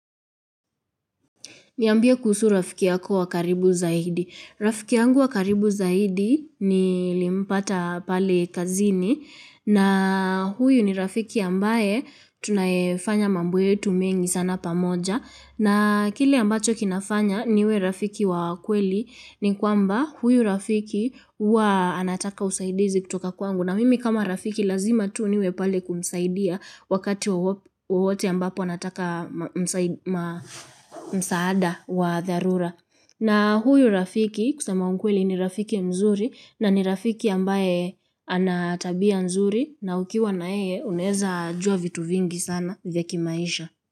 Niambie kuhusu rafiki yako wa karibu zaidi. Rafiki yangu wa karibu zaidi nilimpata pale kazini na huyu ni rafiki ambaye tunayefanya mambo yetu mengi sana pamoja na kile ambacho kinafanya niwe rafiki wa kweli ni kwamba huyu rafiki huwa anataka usaidizi kutoka kwangu. Na mimi kama rafiki lazima tu niwe pale kumsaidia wakati wowote ambapo anataka msaada wa dharura. Na huyu rafiki kusema ukweli ni rafiki mzuri na ni rafiki ambaye ana tabia nzuri na ukiwa na yeye unaweza jua vitu vingi sana vya kimaisha.